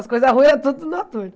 As coisas ruins era tudo do Noturno.